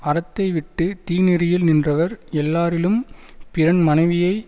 அறத்தை விட்டு தீநெறியில் நின்றவர் எல்லாரிலும் பிறன் மனைவியை